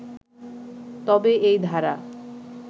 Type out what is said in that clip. তবে এই ধারা